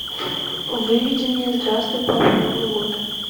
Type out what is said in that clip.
выведи мне здравствуй папа новый год